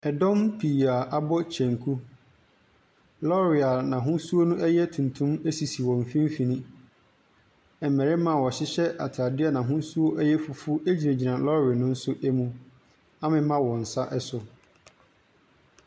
Ɛdɔm pii a abɔ kyenku. Lɔɔre a n'ahosuo no yɛ tuntum sisi wɔn mfimfini. Mmarima a wɔhyehyɛ atadeɛ a n'ahosuo yɛ fufuo gyinagyina lɔɔre no mu amema wɔn nsa so.